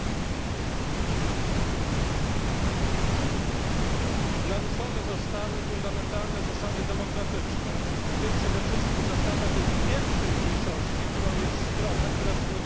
Naruszone zostały fundamentalne zasady demokratyczne, w tym przede wszystkim zasada tej pierwszej mniejszości, którą jest strona, która w mniejszości znajduje się w debacie publicznej ale powinna mieć takie same prawa.